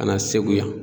Ka na segu yan